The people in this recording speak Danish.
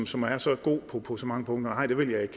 som er så god på så mange punkter nej det vil jeg